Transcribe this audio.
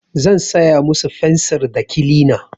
Zan saya musu fensir da kilina.